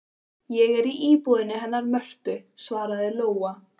Ég er í íbúðinni hennar Mörtu, svaraði Lóa.